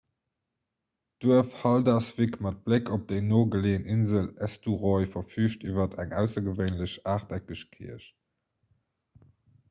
d'duerf haldarsvík mat bléck op déi no geleeën insel eysturoy verfüügt iwwer eng aussergewéinlech aachteckeg kierch